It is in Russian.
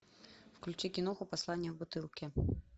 включи киноху послание в бутылке